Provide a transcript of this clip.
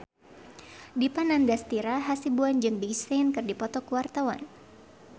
Dipa Nandastyra Hasibuan jeung Big Sean keur dipoto ku wartawan